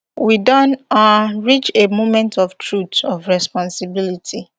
we don um reach a moment of truth of responsibility